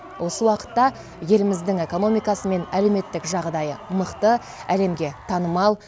осы уақытта еліміздің экономикасы мен әлеуметтік жағдайы мықты әлемге танымал